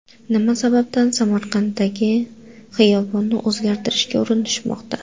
Nima sababdan Samarqanddagi xiyobonni o‘zgartirishga urinishmoqda.